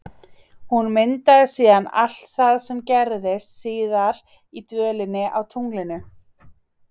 Hún myndaði síðan allt það sem gerðist síðar í dvölinni á tunglinu.